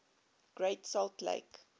great salt lake